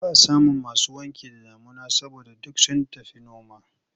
Ba a samun masu wanki da damuna saboda duk sun tafi noma.